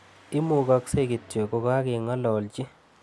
Imugagse kityo kokageng'elalchi.